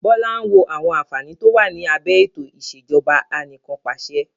Bọlá ń wo àwọn àǹfààní to wá ní abẹ ètò ìsèjọba anìkanpàṣẹ.